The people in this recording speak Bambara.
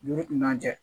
Ni kun man kɛ